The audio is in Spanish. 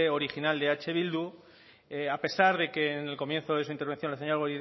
original de eh bildu a pesar de que en el comienzo de su intervención la señora